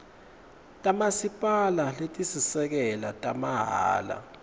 tamasipala letisisekelo tamahhala